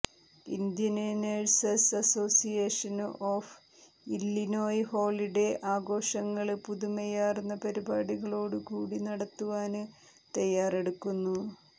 Indian nurses association of Illinois holiday ആഘോഷങ്ങള് പുതുമയാര്ന്ന പരിപാടികളോടുകൂടി നടത്തുവാന് തയാറെടുക്കുന്നു